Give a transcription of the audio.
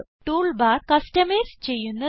tool bar customise ചെയ്യുന്നത്